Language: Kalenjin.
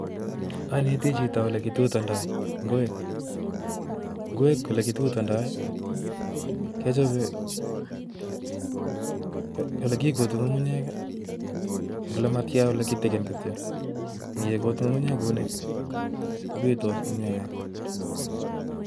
Aneti chito ole kitutondoi ngwek. Ngwek ole kitutondoi, kechobe ole kikuti ng'ung'unyek, ole matia, ole kitikin kityo. Ngekut ng'ung'unyek kunii, kobitos komyee nea